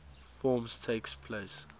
forms takes place